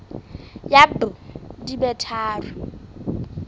ya b di be tharo